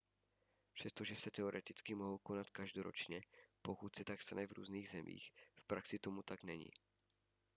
přestože se teoreticky mohou konat každoročně pokud se tak stane v různých zemích v praxi tomu tak není